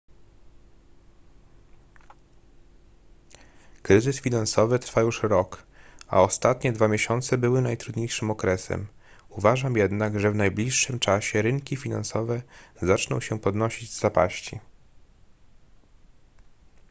kryzys finansowy trwa już rok a ostatnie dwa miesiące były najtrudniejszym okresem uważam jednak że w najbliższym czasie rynki finansowe zaczną się podnosić z zapaści